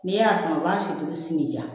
Ni e y'a san u b'a si tobi sigi ja